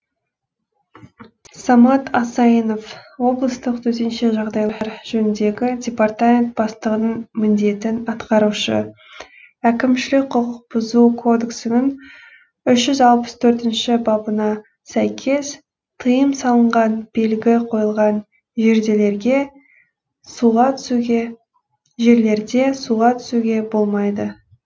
самат асайынов облыстық төтенше жағдайлар жөніндегі департамент бастығының міндетін атқарушы әкімшілік құқық бұзу кодексінің үш жүз алпыс төртінші бабына сәйкес тыйым салынған белгі қойылған жерлерде суға түсуге болмайды